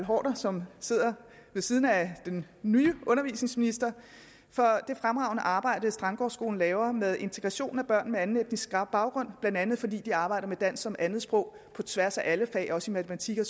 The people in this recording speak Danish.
haarder som sidder ved siden af den nye undervisningsminister for det fremragende arbejde som strandgårdskolen laver med integration af børn med anden etnisk baggrund end andet fordi de arbejder med dansk som andetsprog på tværs af alle fag også i matematik og